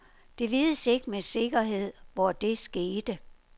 Det vides ikke med sikkerhed, hvor det skete.